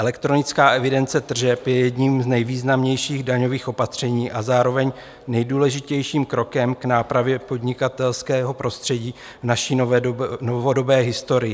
Elektronická evidence tržeb je jedním z nejvýznamnějších daňových opatření a zároveň nejdůležitějším krokem k nápravě podnikatelského prostředí v naší novodobé historii.